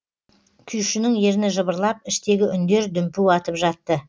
күйшінің ерні жыбырлап іштегі үндер дүмпу атып жатты